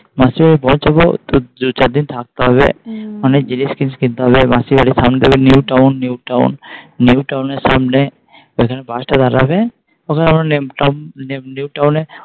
মাসির বাড়ি পৌঁছাবো দু চারদিন থাকতে হবে অনেক জিনিস তিনিস কিনতে হবে মাসির বাড়ি New town New Town towner সামনে যেখানে bus দাঁড়াবে তখন আমরা new town town